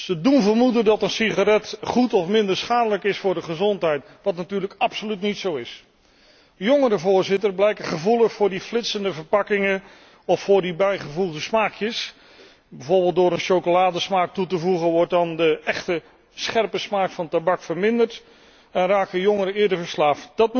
Ze doen vermoeden dat de sigaret goed of minder schadelijk is voor de gezondheid, wat natuurlijk absoluut niet zo is. Jongeren blijken gevoelig voor die flitsende verpakkingen of voor die bijgevoegde smaakjes. Bijvoorbeeld door een chocoladesmaak toe te voegen wordt dan de echte scherpe smaak van tabak verminderd en raken jongeren eerder verslaafd.